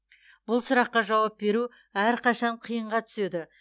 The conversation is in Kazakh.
бұл сұраққа жауап беру әрқашан қиынға түседі